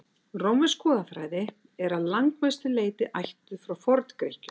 rómversk goðafræði er að langmestu leyti ættuð frá forngrikkjum